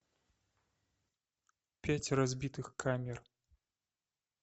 пять разбитых камер